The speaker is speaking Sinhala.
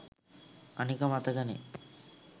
අනික මතකනේ